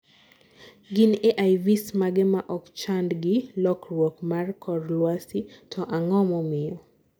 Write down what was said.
gin AIVs mage ma okchand gi lokruok mar kor lwasi to ang'o momiyo?